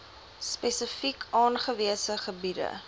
spesifiek aangewese gebiede